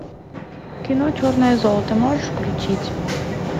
кино черное золото можешь включить